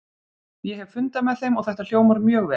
Ég hef fundað með þeim og þetta hljómar mjög vel.